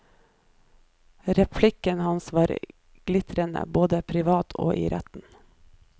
Replikken hans var glitrende, både privat og i retten.